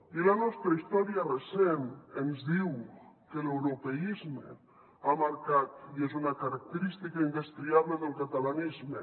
i la nostra història recent ens diu que l’europeisme ha marcat i és una característica indestriable del catalanisme